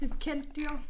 Et kendt dyr